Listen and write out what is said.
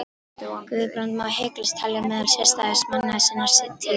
Guðbrand má hiklaust telja meðal sérstæðustu manna sinnar tíðar.